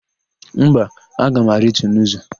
Mba, aga m arịtu n'ụzọ.